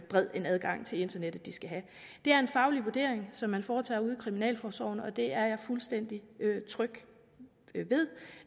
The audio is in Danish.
bred en adgang til internettet de skal have det er en faglig vurdering som man foretager ude i kriminalforsorgen og det er jeg fuldstændig tryg